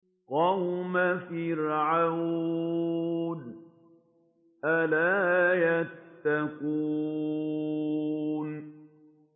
قَوْمَ فِرْعَوْنَ ۚ أَلَا يَتَّقُونَ